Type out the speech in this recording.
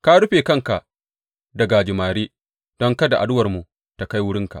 Ka rufe kanka da gajimare don kada addu’armu ta kai wurinka.